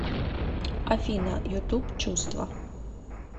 афина ютуб чувства